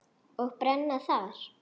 Og brenna þar.